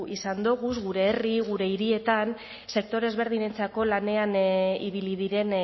izan doguz gure herri gure hirietan sektore ezberdinetako lanean ibili diren